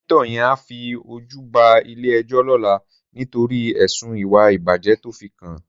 Sènitò yèn á fi ójù bá ilé èjò lòlá nitóri èsún iwá ibájè tòfikán